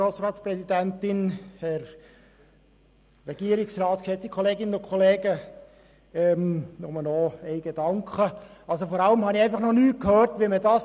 Vor allem habe ich nichts dazu gehört, wie man es finanzieren sollte.